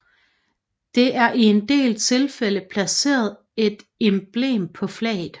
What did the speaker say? Det er i en del tilfælde placeret et emblem på flaget